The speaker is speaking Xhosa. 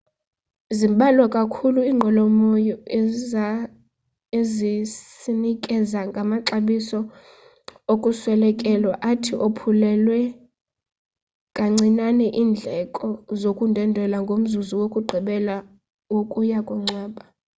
zimbalwa kakhulu inqwelomoya ezisanikeza ngamaxabiso okuswelekelwa athi ophulele kancinane indleko zokundwendwela ngomzuzu wokugqibela wokuya kungcwaba